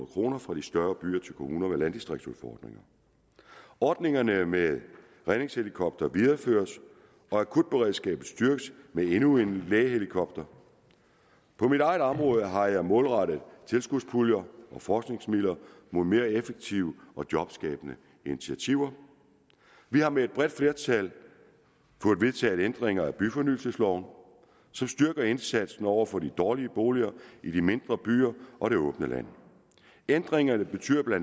kroner fra de større byer til kommuner med landdistriktsudfordringer ordningerne med redningshelikoptere videreføres og akutberedskabet styrkes med endnu en lægehelikopter på mit eget område har jeg målrettet tilskudspuljer og forskningsmidler mod mere effektive og jobskabende initiativer vi har med et bredt flertal fået vedtaget ændringer af byfornyelsesloven som styrker indsatsen over for de dårlige boliger i de mindre byer og det åbne land ændringerne betyder bla